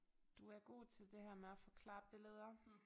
Du er god til det her med at forklare billeder